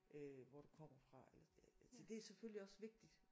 Øh hvor du kommer fra eller det er selvfølgelig også vigtigt